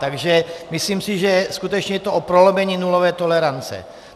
Takže myslím si, že skutečně je to o prolomení nulové tolerance.